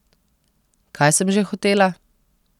Kaj sem že hotela?